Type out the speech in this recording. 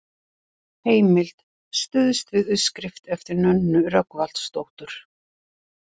Heimild: Stuðst við uppskrift eftir Nönnu Rögnvaldsdóttur.